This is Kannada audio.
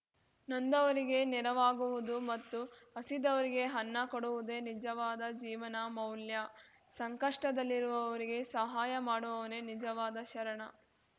ನೊಂದವರಿಗೆ ನೆರವಾಗುವುದು ಮತ್ತು ಹಸಿದವರಿಗೆ ಅನ್ನ ಕೊಡುವುದೇ ನಿಜವಾದ ಜೀವನ ಮೌಲ್ಯ ಸಂಕಷ್ಟದಲ್ಲಿರುವವರಿಗೆ ಸಹಾಯ ಮಾಡುವವನೇ ನಿಜವಾದ ಶರಣ